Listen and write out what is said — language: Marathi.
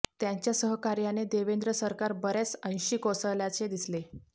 त्यांच्या सहकार्याने देवेंद्र सरकार बर्याच अंशी कोसळल्याचे दिसले